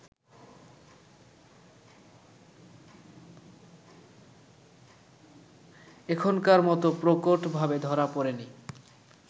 এখনকার মতো প্রকটভাবে ধরা পড়েনি